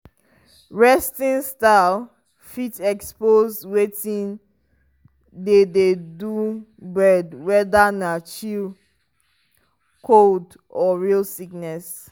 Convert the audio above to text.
resting style fit expose wetin dey dey do bird whether na chill cold or real sickness.